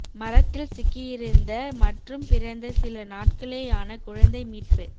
மரத்தில் சிக்கியிருந்த மற்றும் பிறந்து சில நாட்களேயான குழந்தை மீட்பு